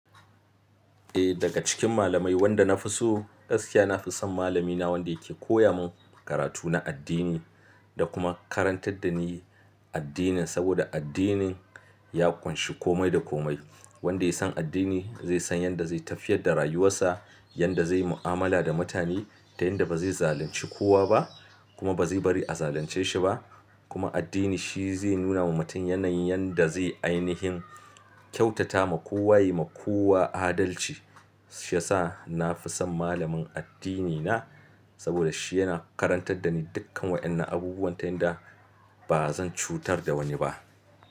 Eh daga cikin malamai wanda na fi so gaskiya na fi son malamina wanda yake koya mun karatu na addini da kuma karantar da ni addinin, saboda addinin ya ƙunshi komai da komai. Wanda ya san addini, zai san yanda zai tafiyar da rayuwarsa, yanda zai mu'amala da mutane, da yanda ba zai zalunci kowa ba, kuma ba zai bari a zalunce shi ba, kuma addini shi zai nuna wa mutum yanayin yanda zai ainihin, kyautata ma kowa, yi ma kowa adalci. Shiyasa na fi son malamin addinina. Saboda shi yana karantar da ni dukkan waƴannan abubuwan, ta yanda, ba zan cutar da wani ba.